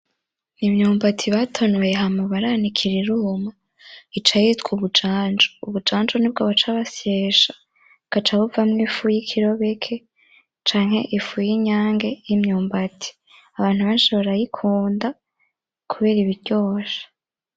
Imyumbati batonoye hama baranikira iruma ica yitwa ubunjanju. Ubujanju nibwo baca baseshya bukaca buvamwo ifu yikirobeke canke ifu y'inyange yimyumbati. Abantu benshi barayikunda kubera iba iryoshe.